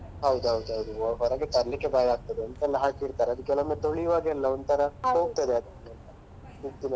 ಹೌದೌದೌದು ಹೊರಗೆ ತರ್ಲಿಕ್ಕೆ ಭಯ ಆಗ್ತದೆ ಎಂತ ಎಲ್ಲ ಹಾಕಿ ಇಡ್ತಾರೆ ಅದು ಕೆಲವೊಮ್ಮೆ ತೊಳಿವಾಗೆಲ್ಲ ಒಂತರ ಹೋಗ್ತದೆ .